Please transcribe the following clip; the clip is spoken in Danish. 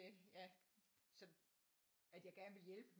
Ja at jeg gerne ville hjælpe